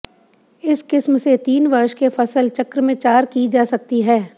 इस किस्म से तीन वर्ष के फसल चक्र में चार जी जा सकती है